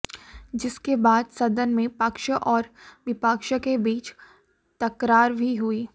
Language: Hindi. जिसके बाद सदन में पक्ष और विपक्ष के बीच तकरार भी हुई